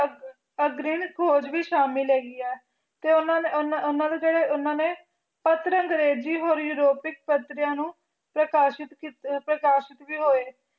ਆਘਰਿਲ ਖੋਜ ਵੀ ਸ਼ਾਮਿਲ ਹੀ ਗੀ ਆ ਟੀ ਓਨਾ ਨੀ ਓਨਾ ਓਨਾ ਦੇ ਕਰੀ ਓਨਾ ਨੀ ਖੋਟਰ ਅੰਗ੍ਰਾਯ੍ਜੀ ਬੋਲੀ ਰੋਪਿਕ ਖਾਚਾਰਯ ਨੂ ਟੀ ਖਾਸ਼ਤ ਕਿਤ ਟੀ ਖਾਸ਼ਤ ਵੀ ਹੋਏ ਟੀ ਓਨਾ ਨੇ ਨਿਨੇ ਤੀਨ ਨਿਨੇ ਤੀਨ ਦੇ ਵਿਚ ਅਨਤ